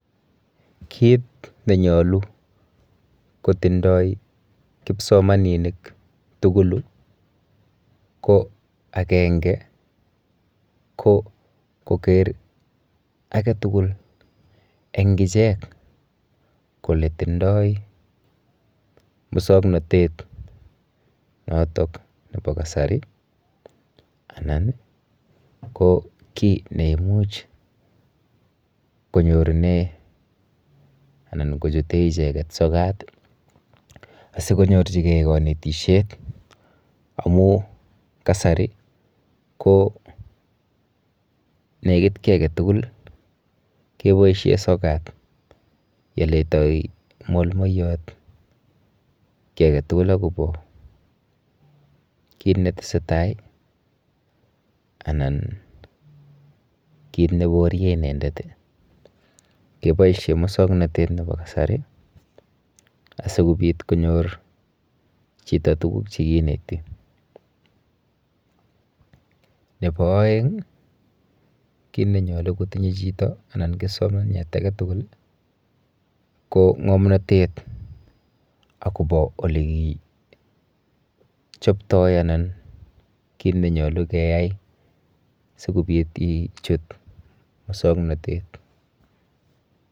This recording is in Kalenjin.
Kit nenyolu kotindo kibsomaninik tugulu ko ko agenge ko koker aketugul en ichek kole tindoi musuaknotet nebo kasari ih. Anan ih ki neimuch konyorunen anan kochuton sokat ih asikonyorchike konetisiet amun kasari negit ki agetugul ih keboisien sogat. Yeletai molmolyat yeletai kiage tugul. Kit netesetai ih anan kit nebarien inendet ih keboisien mukswanotetab kasari asikobit konyor chito tuguk chekineti nebo aeng ih, kit nenyalu kotinye chito anan kibsomaniat age tugul ih ko ng'amnotet akobo ole kichopto anan kit nenyalu keyai sikobit ichut musuaknotet.